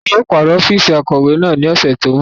Wọn yóò paro ọfiisi akọwe naa ni ọsẹ ti n bọ.